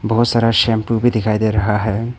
बहोत सारा शैंपू भी दिखाई दे रहा है।